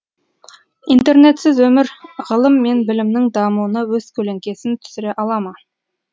интернетсіз өмір ғылым мен білімнің дамуына өз көлеңкесін түсіре ала ма